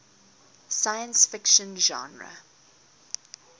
science fiction genre